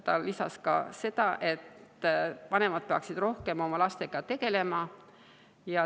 Ta lisas, et vanemad peaksid rohkem oma lastega tegelema.